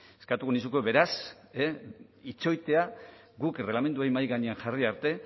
eskatuko nizuke beraz itxoitea guk erregelamendua mahai gainean jarri arte